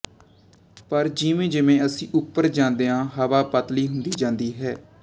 ਪਰ ਜਿਵੇਂਜਿਵੇਂ ਅਸੀਂ ਉੱਪਰ ਜਾਂਦੇ ਹਾਂ ਹਵਾ ਪਤਲੀ ਹੁੰਦੀ ਜਾਂਦੀ ਹੈ